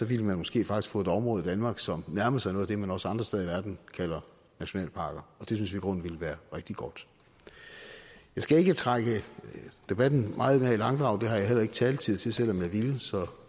ville man måske faktisk få et område i danmark som nærmede sig noget af det man også andre steder i verden kalder nationalparker og det synes vi i grunden ville være rigtig godt jeg skal ikke trække debatten meget mere i langdrag det har jeg heller ikke taletid til selv om jeg ville så